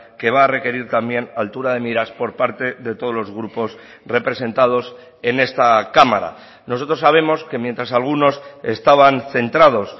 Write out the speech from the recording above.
que va a requerir también altura de miras por parte de todos los grupos representados en esta cámara nosotros sabemos que mientras algunos estaban centrados